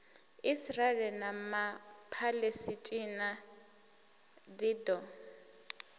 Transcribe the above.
israele na ma palesitina ḽido